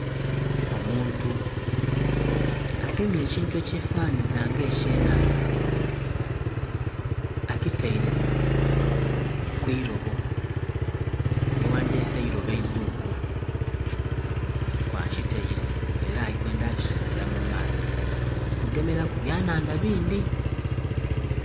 Omuntu agemye ekintu ekye fananhiliza nga ekye nhandha akitaire kwirobo lye gha dhyese eirobo eizuungu, kwa kitaire era ali kwendha kisuula mu maadhi kugemeraku bya nhandha bindhi.